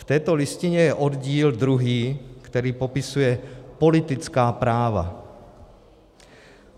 V této listině je oddíl druhý, který popisuje politická práva.